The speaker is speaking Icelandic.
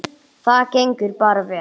Það gengur bara vel.